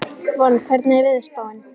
Von, hvernig er veðurspáin?